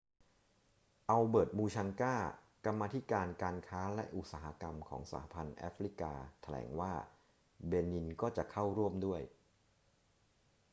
อัลเบิร์ต มูชังกา กรรมาธิการการค้าและอุตสาหกรรมของ สหพันธ์แอฟริกาแถลงว่าเบนินก็จะเข้าร่วมด้วย